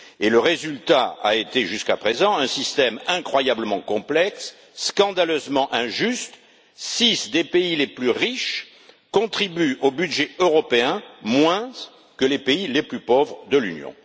Le résultat a été jusqu'à présent un système incroyablement complexe et scandaleusement injuste six des pays les plus riches contribuent au budget européen moins que les pays les plus pauvres de l'Union.